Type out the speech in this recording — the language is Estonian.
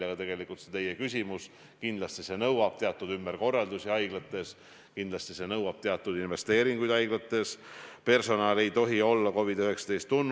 Aga teine küsimus puudutab just nimelt sedasama patsientide turvalisuse või tervise tagamist olukorras, kus vaktsiini veel ei ole ega ole ka mingit kindlust, et kui see vaktsiin tuleb, siis kui tõhusaks see osutub.